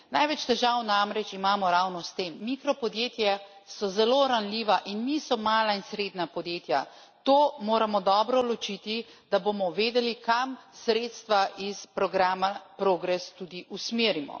Največ težav namreč imamo ravno s tem mikropodjetja so zelo ranljiva in niso mala in srednja podjetja. To moramo dobro ločiti, da bomo vedeli, kam sredstva iz programa PROGRESS tudi usmerimo.